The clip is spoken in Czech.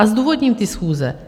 A zdůvodním ty schůze.